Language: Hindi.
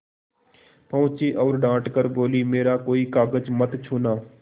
पहुँची और डॉँट कर बोलीमेरा कोई कागज मत छूना